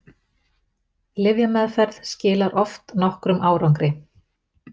Lyfjameðferð skilar oft nokkrum árangri.